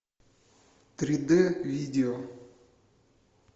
три дэ видео